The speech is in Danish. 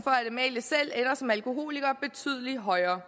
amalie selv ender som alkoholiker betydeligt højere